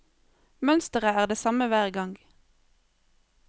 Mønsteret er det samme hver gang.